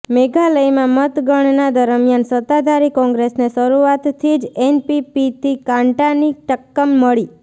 મેઘાલયમાં મતગણના દરમિયાન સત્તાધારી કોંગ્રેસને શરૂઆતથી જ એનપીપીથી કાંટાની ટક્કમ મળી